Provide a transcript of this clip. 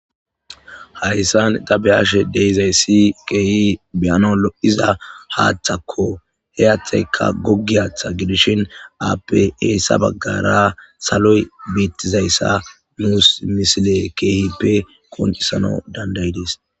Haysan ta be'ashe de'izaysi keehi be'anawu lo'iza haththakko he haththaykka gogiya haththaykko appe heysa bagara saloy betizaysa nus missile keehippe qonc'isanawu danidayides.